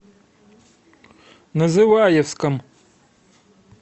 называевском